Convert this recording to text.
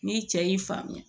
Ni cɛ y'i faamuya